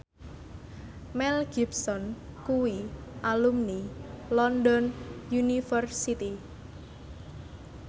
Mel Gibson kuwi alumni London University